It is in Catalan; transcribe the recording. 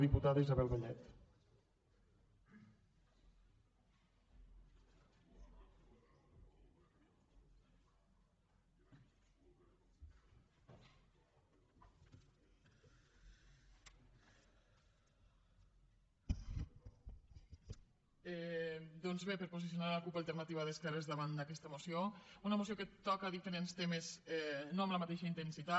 doncs bé per posicionar la cup alternativa d’esquerres davant d’aquesta moció una moció que toca diferents temes no amb la mateixa intensitat